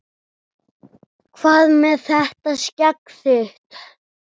Hvað með þetta skegg þitt.